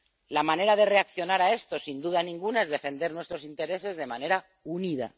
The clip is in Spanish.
La manera de reaccionar a esto, sin duda ninguna, es defender nuestros intereses de manera unida.